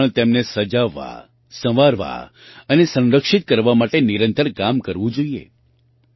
આપણે પણ તેમને સજાવવાસંવારવા અને સંરક્ષિત કરવા માટે નિરંતર કામ કરવું જોઈએ